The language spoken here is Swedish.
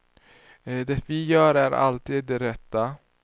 Det vi gör är alltid det rätta.